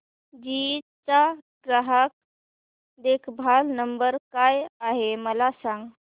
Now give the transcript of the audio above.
GE चा ग्राहक देखभाल नंबर काय आहे मला सांग